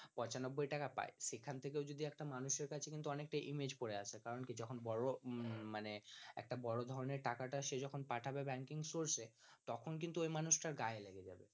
পঁচানব্বই টাকা পায় সেখান থেকে সেখান থেকেও কিন্তু একটা মানুষের কাছে কিন্তু image পরে আছে কারন কি যখন বড়লোক মানে একটা বড় ধরনের টাকা টা সে যখন পাঠাবে banking source এ তখন কিন্তু ওই মানুষটার গায়ে লেগে যাবে